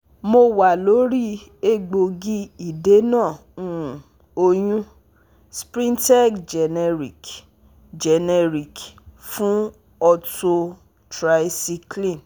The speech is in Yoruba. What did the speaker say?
mo wa lori egboogi idena um oyun sprintec generic generic fun ortho tricyclen